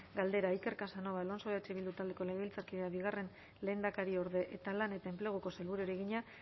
galdera iker casanova alonso eh bildu taldeko legebiltzarkideak bigarren lehendakariorde eta lan eta enpleguko sailburuari egina